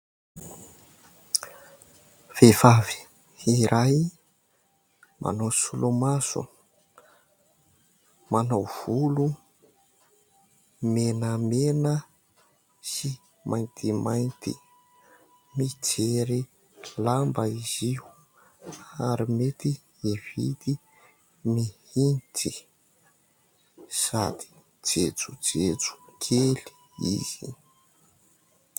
Vehivavy iray manao solomaso, manao volo menamena sy maintimainty. Mijery lamba izy io ary mety hividy mihitsy sady jejojejo kely izy.